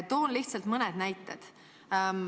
Toon lihtsalt mõne näite.